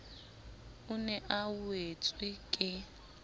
o ne a wetswe ke